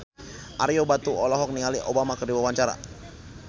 Ario Batu olohok ningali Obama keur diwawancara